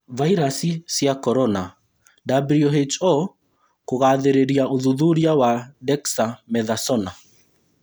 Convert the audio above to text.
Vairasi cia korona:WHO kũgathĩrĩria ũthuthuria wa Dexamethasona